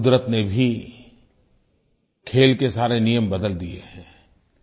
कुदरत ने भी खेल के सारे नियम बदल दिये हैं